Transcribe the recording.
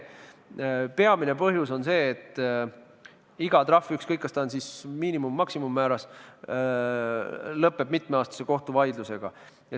Peamine põhjus on see, et iga trahv – ükskõik, kas ta on miinimum- või maksimummääras – lõpeb mitmeaastase kohtuvaidlusega.